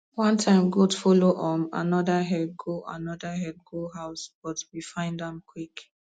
one time goat follow um another herd go another herd go house but we find am quick